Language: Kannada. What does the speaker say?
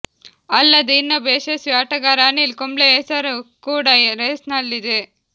ಅಲ್ಲದೆ ಇನ್ನೊಬ್ಬ ಯಶಸ್ವಿ ಆಟಗಾರ ಅನಿಲ್ ಕುಂಬ್ಲೆಯ ಹೆಸರು ಕೂಡಾ ರೇಸ್ನಲ್ಲಿದೆ